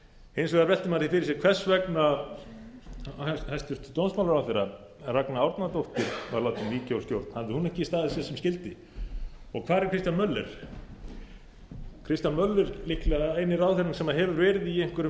hins vegar veltir maður því fyrir sér hvers vegna hæstvirtur dómsmálaráðherra ragna árnadóttir var látin víkja úr stjórn hafði hún ekki staðið sig sem skyldi og hvar er kristján möller kristján möller er líklega eini ráðherrann sem hefur verið í einhverjum